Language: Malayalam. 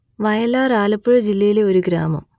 വയലാർ ആലപ്പുഴ ജില്ലയിലെ ഒരു ഗ്രാമം